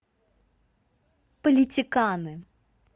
политиканы